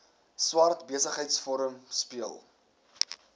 swart besigheidsforum speel